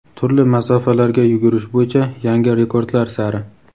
turli masofalarga yugurish bo‘yicha "Yangi rekordlar sari!";.